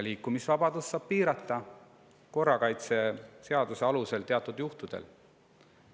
Samas saab korrakaitseseaduse alusel seda teatud juhtudel piirata.